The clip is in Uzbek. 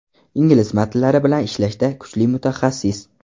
Ingliz matnlari bilan ishlashda kuchli mutaxassis.